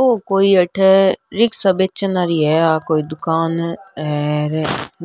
औ कोई अठ रिक्शा बेचन आली है आ कोई दुकान हर